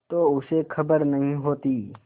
तो उसे खबर नहीं होती